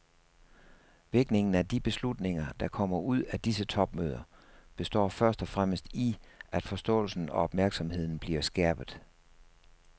Virkningen af de beslutninger, der kommer ud af disse topmøder, består først og fremmest i, at forståelsen og opmærksomheden bliver skærpet.